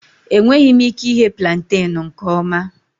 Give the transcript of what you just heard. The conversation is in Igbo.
Enweghị m ike ighe plantain nke ọma